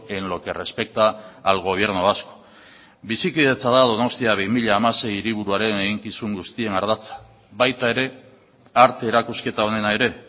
en lo que respecta al gobierno vasco bizikidetza da donostia bi mila hamasei hiriburuaren eginkizun guztien ardatza baita ere arte erakusketa honena ere